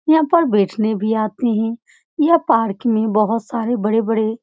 यहाँ पर बेचने भी आते हैं यह पहाड़ के नी बोहोत सारे बड़े-बड़े --